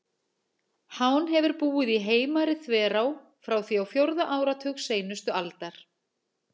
Hán hefur búið í Heimari-þverá frá því á fjórða áratug seinustu aldar.